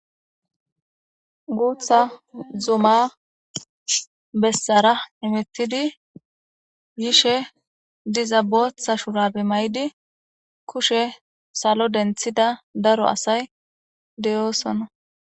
guutha zuma bessara imittidi yishe dizabotha shurabe may7di kushe salo denthida daro asay deyoosonna